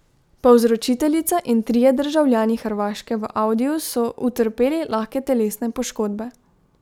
Povzročiteljica in trije državljani Hrvaške v audiju so utrpeli lahke telesne poškodbe.